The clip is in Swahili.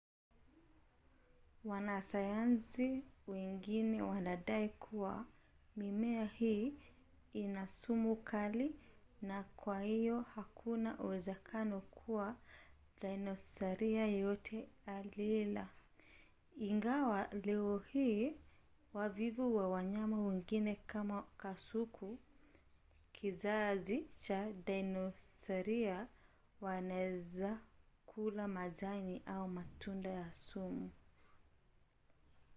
wanasayansi wengine wanadai kuwa mimea hii ina sumu kali na kwa hiyo hakuna uwezekano kuwa dinosaria yeyote aliila ingawa leo hii wavivu na wanyama wengine kama kasuku kizazi cha dinosaria wanaweza kula majani au matunda ya sumu